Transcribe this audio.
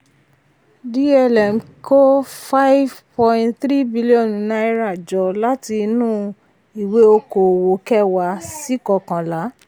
dlm kó five point three billion naira jọ láti inú ìwé kòòwò kẹwàá sí kókànlá.